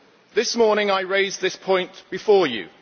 This morning I raised this point before you.